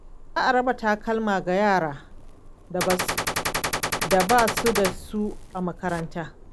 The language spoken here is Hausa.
Za a raba takalma ga yaran da ba su da su a makaranta.